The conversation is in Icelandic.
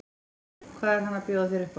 Páll: Hvað er hann að bjóða þér upp á?